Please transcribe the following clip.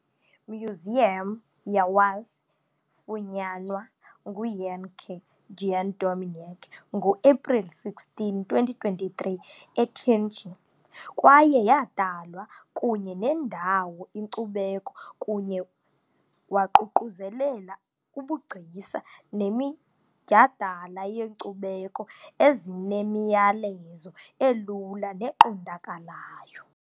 Myuziyam yaawas funyanwa nguHenryk Jan Dominiak NgoAprili 16, 2013 eTychy, kwaye yadalwa kunye nendawo iNkcubeko kunye waququzelela ubugcisa neminyhadala yenkcubeko ezinemiyalezo elula neqondakalayo.